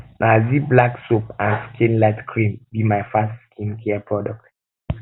um na um zee black soap and skin light cream be my best skincare products